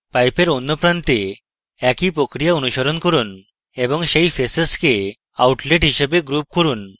pipe এর অন্য প্রান্তে একই প্রক্রিয়া অনুসরণ করুন এবং সেই faces কে outlet হিসাবে group করুন